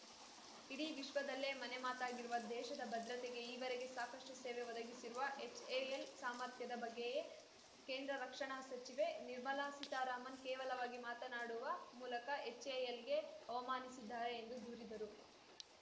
ಇಡೀ ವಿಶ್ವದಲ್ಲೇ ಮನೆ ಮಾತಾಗಿರುವ ದೇಶದ ಭದ್ರತೆಗೆ ಈವರೆಗೆ ಸಾಕಷ್ಟುಸೇವೆ ಒದಗಿಸಿರುವ ಎಚ್‌ಎಎಲ್‌ ಸಾಮರ್ಥ್ಯದ ಬಗ್ಗೆಯೇ ಕೇಂದ್ರ ರಕ್ಷಣಾ ಸಚಿವೆ ನಿರ್ಮಲಾ ಸೀತಾರಾಮನ್‌ ಕೇವಲವಾಗಿ ಮಾತನಾಡುವ ಮೂಲಕ ಎಚ್‌ಎಎಲ್‌ಗೆ ಅವಮಾನಿಸಿದ್ದಾರೆ ಎಂದು ದೂರಿದರು